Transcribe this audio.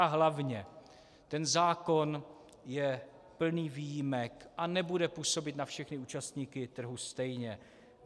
A hlavně ten zákon je plný výjimek a nebude působit na všechny účastníky trhu stejně.